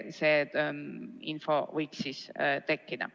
Seda infot võiks anda.